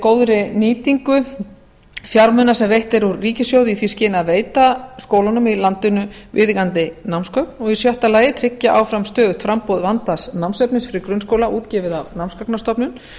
góðri nýtingu fjármuna sem veitt er úr ríkissjóði í því skyni að veita skólunum í landinu viðeigandi námsgögn og í sjötta lagi að tryggja áfram stöðugt framboð vandaðs námsefnis fyrir grunnskóla útgefið af námsgagnastofnun